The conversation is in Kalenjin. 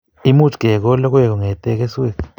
Much kekol logoek kongetee keswek